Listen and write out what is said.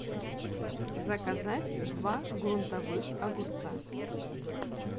заказать два грунтовых огурца